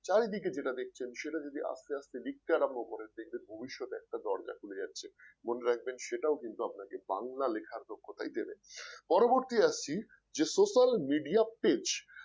চারিদিকে যেটা দেখছেন সেটা যদি আস্তে আস্তে লিখতে আরম্ভ করেন দেখবেন ভবিষ্যতের একটা দরজা খুলে যাচ্ছে মনে রাখবেন সেটাও কিন্তু আপনাকে বাংলা লেখার দক্ষতাই দেবে। পরবর্তী আসছে যে social media page